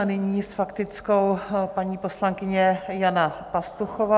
A nyní s faktickou paní poslankyně Jana Pastuchová.